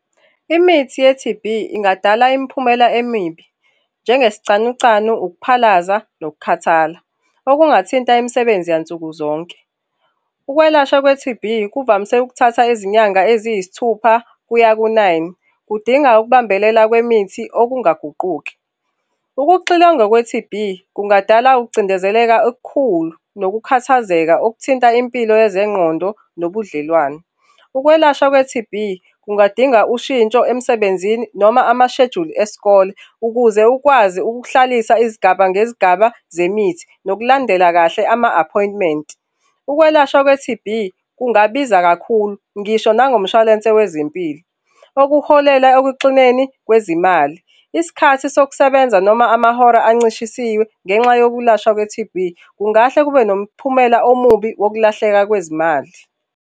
Imithi ye-T_B ingadala imiphumela emibi, njengesicanucanu, ukuphalaza nokukhathala okungathinta imisebenzi yansuku zonke. Ukwelashwa kwe-T_B kuvamise ukuthatha izinyanga eziyisithupha kuya ku-nine. Kudinga ukubambelela kwemithi okungaguquki. Ukuxilonga kwe-T_B kungadala ukucindezeleka okukhulu nokukhathazeka okuthinta impilo yezengqondo nobudlelwane. Ukwelashwa kwe-T_B kungadinga ushintsho emsebenzini noma amashejuli esikole ukuze ukwazi ukuhlalisa izigaba ngezigaba zemithi nokulandela kahle ama-appointment. Ukwelashwa kwe-T_B kungabiza kakhulu ngisho nangomshwalense wezempilo, okuholela ekuxineni kwezimali. Isikhathi sokusebenza noma amahora ancishisiwe, ngenxa yokulashwa kwe-T_B kungahle kube nomphumela omubi wokulahleka kwezimali.